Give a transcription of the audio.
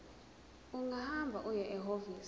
ungahamba uye ehhovisi